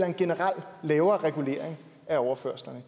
en generelt lavere regulering af overførslerne